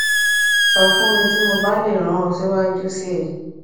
sọ fun mi ti mo ba le ran ọ siwaju sii